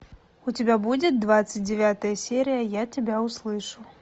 у тебя будет двадцать девятая серия я тебя услышу